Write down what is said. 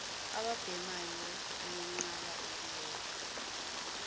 ababhemayo liyenqaba ukuyeka